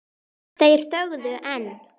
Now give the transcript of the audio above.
Þeir þögðu enn.